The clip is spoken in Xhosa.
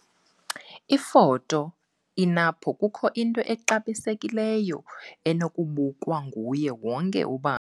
Ifoto- E-NAMPO kukho into exabisekileyo enokubukwa nguye wonke ubani.